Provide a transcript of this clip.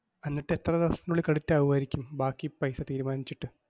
എന്നിട്ടെത്ര ദിവസത്തിനുള്ളിൽ credit ആവുവായിരിക്കും ബാക്കി paisa തീരുമാനിച്ചിട്ട്?